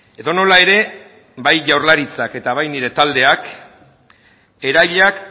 edonola ere bai jaurlaritzak eta bai nire taldeak erailak